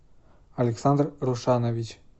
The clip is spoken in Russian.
александр рушанович